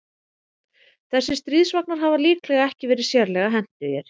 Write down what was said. Þessir stríðsvagnar hafa líklega ekki verið sérlega hentugir.